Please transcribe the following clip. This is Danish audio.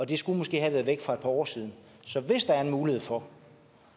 det skulle måske have været væk for et par år siden så hvis der er en mulighed for